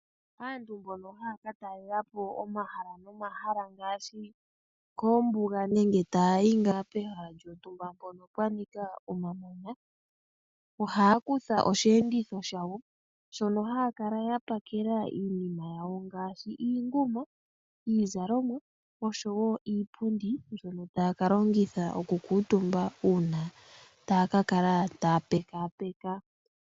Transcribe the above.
Aantu mbono haya katalelapo omahala nomahala ngaashi koombuga nenge taya yi pehala lyontumba mpono pwanika omamanya, ohaya kutha oshiyenditho shawo, shono haya kala pakela iinima yawo ngaashi iinguma , iizalomwa oshowoo iipundi mbyono taya kalongitha okukuutumba uuna taya kakala taya pekaapeka.